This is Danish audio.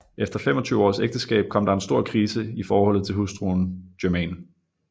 Efter femogtyve års ægteskab kom der en stor krise i forholdet til hustruen Germaine